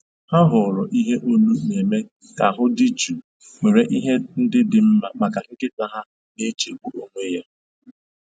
Ha họọrọ ihe olu na-eme ka ahụ dị jụụ nwere ihe ndị dị mma maka nkịta ha na-echegbu onwe ya